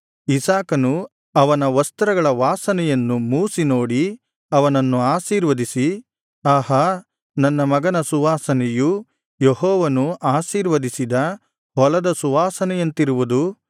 ಇಸಾಕನು ಅವನ ವಸ್ತ್ರಗಳ ವಾಸನೆಯನ್ನು ಮೂಸಿ ನೋಡಿ ಅವನನ್ನು ಆಶೀರ್ವದಿಸಿ ಆಹಾ ನನ್ನ ಮಗನ ಸುವಾಸನೆಯು ಯೆಹೋವನು ಆಶೀರ್ವದಿಸಿದ ಹೊಲದ ಸುವಾಸನೆಯಂತಿರುವುದು